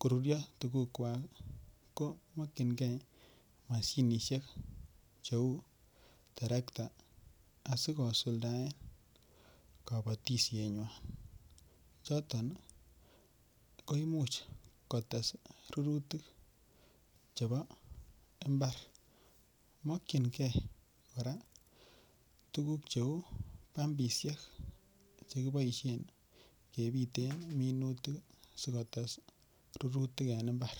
koruryo tugukwak ko mokyingei mashinisiek cheu terekta asi kosuldaen kabatisienywan choton ko Imuch kotes rurutik chebo mbar mokyingei kora tuguk cheu pumpisiek Che kiboisien kebiten minutik asi kotes rurutik en mbar